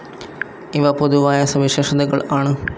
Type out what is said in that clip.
ഇവ പൊതുവായ സവിശേഷതകൾ ആണ്.